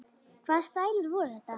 Hvaða stælar voru þetta?